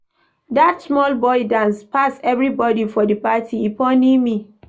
Dat small boy dance pass everybodi for di party, e funny me.